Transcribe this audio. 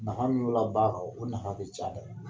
Nafa min b'o la ba kɔ o nafa caya dɛ.